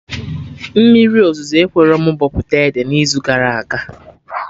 Mmiri ozuzo ekwerọ mụ bọpụta ede n'izu gara aga